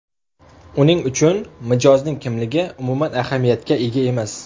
Uning uchun mijozning kimligi umuman ahamiyatga ega emas.